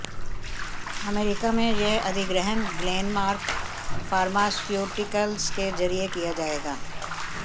America में यह अधिग्रहण ग्लेनमार्क फार्मास्यूटिकल्स के जरिए किया जाएगा